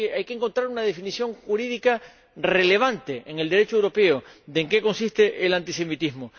Hay que encontrar una definición jurídica relevante en el Derecho europeo de que en qué consiste el antisemitismo